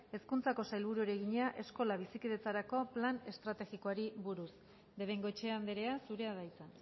hezkuntzako sailburuari egina eskola bizikidetzarako plan estrategikoari buruz de bengoechea andrea zurea da hitza